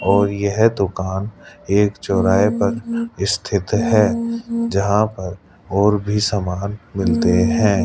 और यह दुकान एक चौराहे पर स्थित हैं जहां पर और भी सामान मिलते हैं।